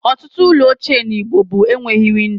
Ọtụtụ ụlọ ochie na igbo bụ enweghị windo